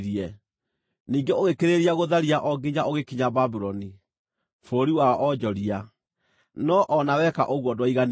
Ningĩ ũgĩkĩrĩrĩria gũtharia o nginya ũgĩkinya Babuloni, bũrũri wa onjoria, no-o na weka ũguo ndwaiganirie.